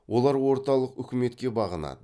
олар орталық үкіметке бағынады